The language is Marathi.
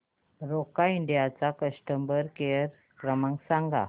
रोका इंडिया चा कस्टमर केअर क्रमांक सांगा